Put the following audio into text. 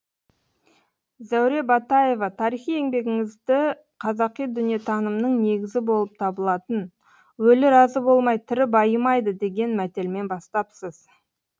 зәуре батаева тарихи еңбегіңізді қазақи дүниетанымның негізі болып табылатын өлі разы болмай тірі байымайды деген мәтелмен бастапсыз